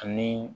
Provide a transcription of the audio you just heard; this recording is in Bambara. Ani